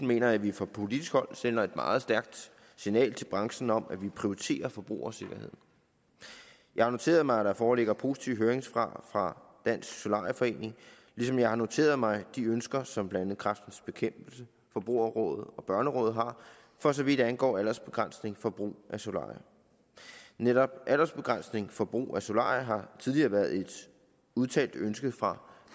mener jeg at vi fra politisk hold sender et meget stærkt signal til branchen om at vi prioriterer forbrugersikkerheden jeg har noteret mig at der foreligger positive høringssvar fra dansk solarie forening ligesom jeg har noteret mig de ønsker som blandt andet kræftens bekæmpelse forbrugerrådet og børnerådet har for så vidt angår aldersbegrænsning for brug af solarier netop aldersbegrænsning for brug af solarier har tidligere været et udtalt ønske fra